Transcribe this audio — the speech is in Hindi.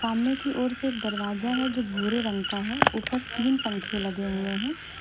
मने की ओर से एक दरवाजा है जो भूरे रंग का है ऊपर तीन पंखे लगे हुए हैं।